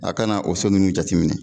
A kana o so nunnu jateminɛ